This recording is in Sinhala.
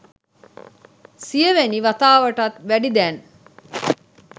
සියවෙනි වතාවටත් වැඩි දැන්